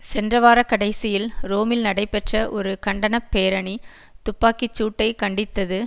சென்ற வார கடைசியில் ரோமில் நடைபெற்ற ஒரு கண்டன பேரணி துப்பாக்கி சூட்டை கண்டித்தது